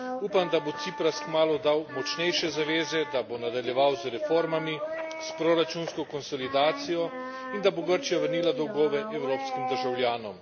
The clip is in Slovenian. Upam, da bo Cipras kmalu dal močnejše zaveze, da bo nadaljeval z reformami, s proračunsko konsolidacijo in da bo Grčija vrnila dolgove evropskim državljanom.